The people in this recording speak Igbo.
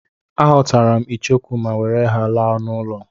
Aghọtara m icheku ma were ha laa n'ụlọ.